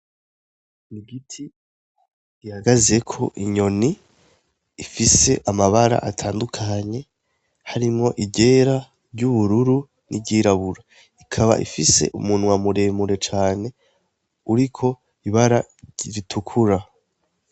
Igiti gihagazeko inyoni ifise amabara atandukanye harimwo iryera, iryubururu, n'iryirabura. Ikaba ifise umunwa muremure cane, uriko ibara ritukura.